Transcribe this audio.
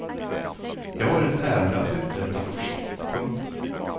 Jag har ett ärende att uträtta först. punkt